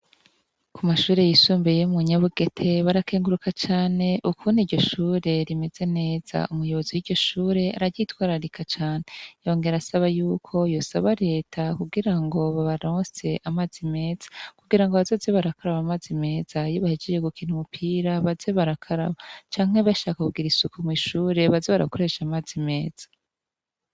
Kumashure yisumbuye yo munyabugete barakenguruka cane ukuntu iryoshure rimeze neza. Umuyobozi w'iryoshure araryitwararika cane yongerasaba yuko yosaba reta kugirango babarose amazi meza kugirango bazoze barakaraba amazi meza iyo bahejeje gukina umupira baze barakaraba canke bashaka kugira isuku mw'ishuri baze barakoresha amazi meza.